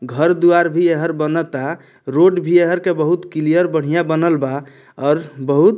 घर दुवार भी एहर बनता रोड भी एहर के बहुत क्लियर बढ़िया बनल बा और बहुत --